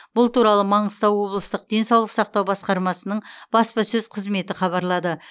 бұл туралы маңғыстау облыстық денсаулық сақтау басқармасының баспасөз қызметі хабарлады